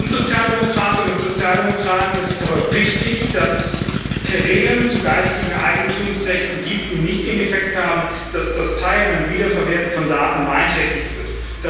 Uns Sozialdemokratinnen und Sozialdemokraten ist es aber wichtig, dass es Regeln zu geistigen Eigentumsrechten gibt, die nicht den Effekt haben, dass das Teilen und Wiederverwerten von Daten beeinträchtigt wird.